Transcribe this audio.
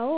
አዎ